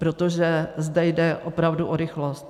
Protože zde jde opravdu o rychlost.